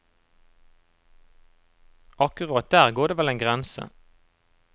Akkurat der går det vel en grense.